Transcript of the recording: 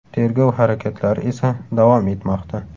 Tergov harakatlari esa davom etmoqda.